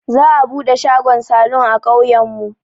Za'a buɗe shagon salun a ƙauyen mu.